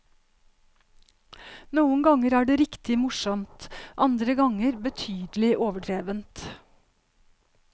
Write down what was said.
Noen ganger er det riktig morsomt, andre ganger betydelig overdrevent.